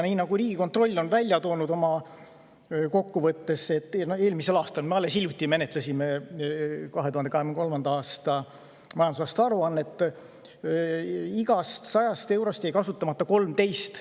Nii nagu Riigikontroll on oma eelmise aasta käivas kokkuvõttes ära toonud – alles hiljuti me käsitlesime 2023. aasta majandusaasta aruannet –, jäi igast 100 eurost kasutamata 13.